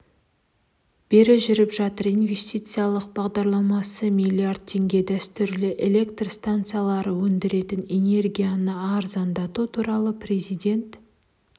бері жүріп жатыр инвестициялық бағларламасы млрд теңге дәстүрлі электр станциялары өндіретін энергияны арзандату туралы президент